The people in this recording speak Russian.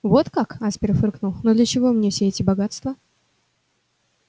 вот как аспер фыркнул но для чего мне все эти богатства